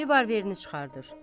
Revolverini çıxardır.